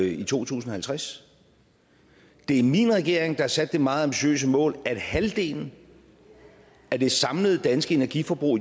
i to tusind og halvtreds det er min regering der har sat det meget ambitiøse mål at halvdelen af det samlede danske energiforbrug